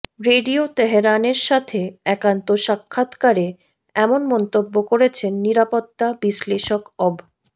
radio তেহরানের সাথে একান্ত সাক্ষাৎকারে এমন মন্তব্য করেছেন নিরাপত্তা বিশ্লেষক অব